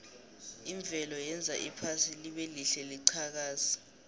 imvelo yenza iphasi libelihle liqhakaze